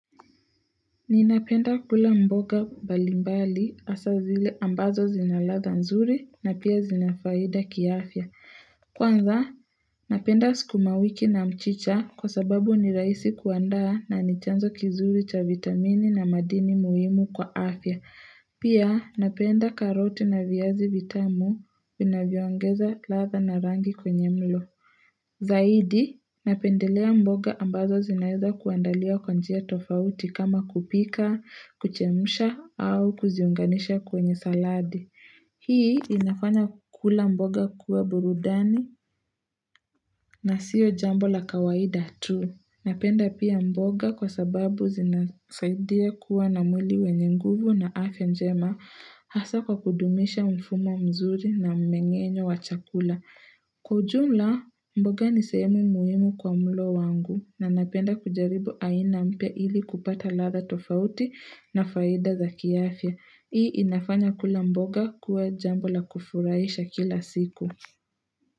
Ninapenda kula mboga mbalimbali hasa zile ambazo zina ladha nzuri na pia zinafaida kiafya. Kwanza, napenda sukumawiki na mchicha kwa sababu ni rahisi kuanda na nichanzo kizuri cha vitamini na madini muhimu kwa afya. Pia, napenda karoti na viazi vitamu vinavyoongeza ladha na rangi kwenye mlo. Zaidi, napendelea mboga ambazo zinaweza kuandaliwa kwa njia tofauti kama kupika, kuchemsha au kuziunganisha kwenye saladi. Hii inafanya kula mboga kuwa burudani na sio jambo la kawaida tu. Napenda pia mboga kwa sababu zinasaidia kuwa na mwili wenye nguvu na afya njema hasa kwa kudumisha mfumo mzuri na mmengenyo wa chakula. Kwa ujumla mboga ni sehemu muhimu kwa mlo wangu na napenda kujaribu aina mpya ili kupata ladha tofauti na faida za kiafya. Hii inafanya kula mboga kuwa jambo la kufurahisha kila siku.